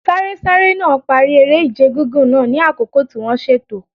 Sárésáré náà parí eré-ìje gígùn náà ní àkókò tí wọ́n ṣètò.